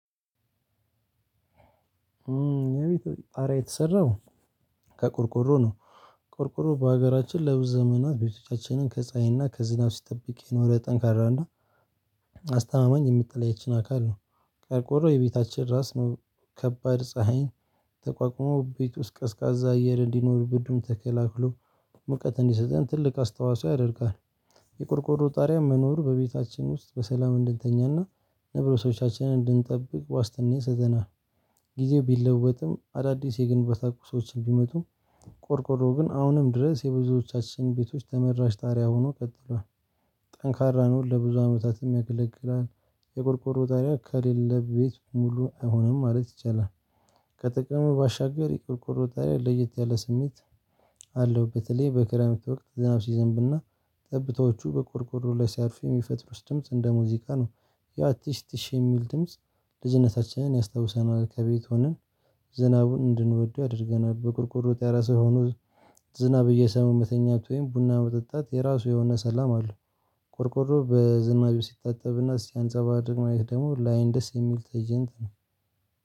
የቤቴ ጣራ የተሰራው ከቆርቆሮ ነው። ቆርቆሮ በሀገራችን ለብዙ ዘመናት ቤቶቻችንን ከፀሀይና ከዝናብ ሲጠብቅ የኖረ ጠንካራ እና አስተማማኝ የሚጠለያችን አካል ነው። ቆርቆሮ የቤታችን ራስ ነው። ከባድ ፀሀይን ተቋቁሞ ቤት ውስጥ ቀዝቃዛ አየር እንዲኖር ብርዱን ተከላልሎ ሙቀት እንዲሰጠን ትልቅ አስተዋፅዖ ያደርጋል። የቆርቆሮ ጣሪያ መኖሩ በቤታችን ውስጥ በሰላም እንድንተኛና ነብሶቻችንን እንድንጠብቅ ዋስትና ይሰዘናል። ጊዜው ቢለወጥም አዳዲስ የግንባታ ቁሶችን ቢመጡም ቆርቆሮ ግን አሁንም ድረስ የብዙዎቻችን ቤቶች ተመራጭ ጣሪያ ሆኖ ቀጥሏል። ጠንካራ ነው ለብዙ አመታትም ያገለግላል። የቆርቆሮ ጣሪያ ከሌለ ቤት ሙሉ አይሆንም ማለት ይቻላል። ከጥቅሙ ባሻገር የቆርቆሮ ጣሪያ ለየት ያለ ስሜት አለው። በተለይ በክረምት ወቅት ዝናብ ሲዘንብና ጠብታዎቹ በቆርቆሮ ላይ ሲያርፍ የሚፈጥሩት ድምጽ እንደ ሙዚቃ ነው። ያው ቲሽ ቲሽ የሚል ድምጽ ልጅነታችንን ያስታውሰናል። ከቤት ሆነን ዝናቡን እንድንወደው ያደርገናል። በቆርቆሮ ጣራ ስር ሆኖ ዝናብ እየሰሙ መተኛት ወይም ቡና መጠጣት የራሱ የሆነ ሰላም አሉለው። ቆርቆሮ በዝናብ ሲታጠብና ሲያንጸባርቅ ማየት ደግሞ ላይን ደስ የሚል ትእይንት ነው።